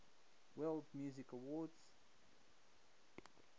world music awards